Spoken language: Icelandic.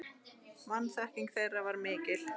Vanþekking þeirra var mikil.